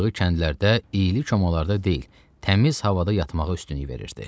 Qoğuşu kəndlərdə iyli çomalarda deyil, təmiz havada yatmağa üstünlük verirdi.